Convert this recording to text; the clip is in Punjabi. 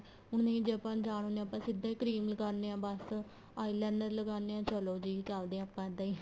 ਹੁਣ ਨਹੀਂ ਜ਼ੇ ਆਪਾਂ ਅਜਾਣ ਹੁੰਦੇ ਹਾਂ ਆਪਾਂ ਸਿੱਧਾ ਹੀ cream ਲਗਾਦੇ ਹਾਂ ਬੱਸ eyeliner ਲਗਾਦੇ ਹਾਂ ਚਲੋਂ ਜੀ ਚੱਲਦੇ ਹਾਂ ਆਪਾਂ ਇੱਦਾਂ ਹੀ